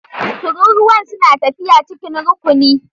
Tururuwan suna tafiya cikin rukuni.